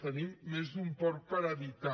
tenim més d’un porc per habitant